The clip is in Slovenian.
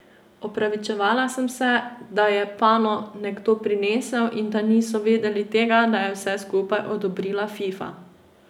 Opravičevala se je, da je pano nekdo prinesel in da niso vedeli tega, da je vse skupaj odobrila Fifa.